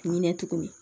Hinɛ tuguni